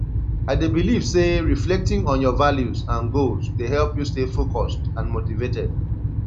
i dey believe say reflecting on your values and goals dey help you stay focused and motivated